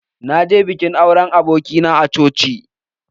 Na je bikin auren abokia na a coci.